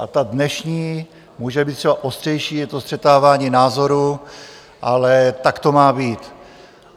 A ta dnešní, může být třeba ostřejší, je to střetávání názorů, ale tak to má být.